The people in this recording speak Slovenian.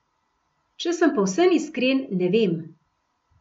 Če sem povsem iskren, ne vem.